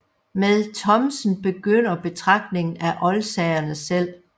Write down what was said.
Med Thomsen begynder betragtningen af oldsagerne selv